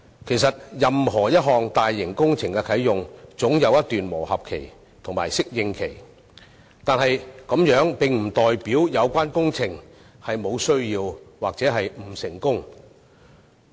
其實任何大型工程在啟用後總有一段磨合期及適應期，但這並不表示有關工程無必要或不成功。